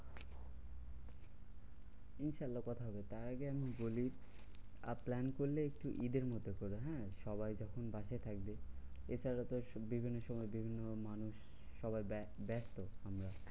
ইনশাআল্লা কথা হবে। তার আগে আমি বলি, আহ plan করলে একটু ঈদের মধ্যে করো হ্যাঁ? সবাই যখন বাসায় থাকবে এছাড়া তো বিভিন্ন সময় বিভিন্ন রকম মানুষ সবাই ব্যাস ব্যস্ত আমরা।